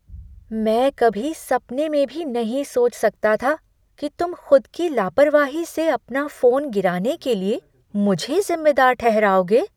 मैं कभी सपने में भी नहीं सोच सकता था कि तुम खुद की लापरवाही से अपना फोन गिराने के लिए मुझे ज़िम्मेदार ठहराओगे।